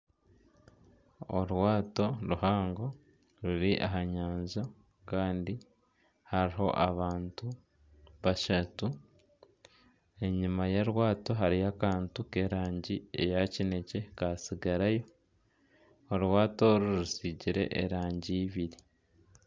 Orwaato ruhango ruri aha nyanja kandi hariho abantu bashatu. Enyima y'orwaato hariyo akantu k'erangi eya kinekye katsigarayo. Orwaato oru rusiigire erangi ibiri.